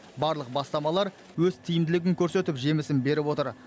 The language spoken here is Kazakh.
барлық бастамалар өз тиімділігін көрсетіп жемісін беріп отыр